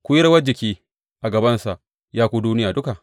Ku yi rawar jiki a gabansa, ya ku duniya duka!